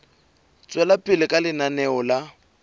tswela pele ka lenaneo la